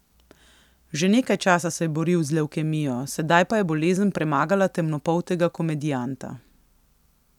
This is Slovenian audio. Že nekaj časa se je boril z levkemijo, sedaj pa je bolezen premagala temnopoltega komedijanta.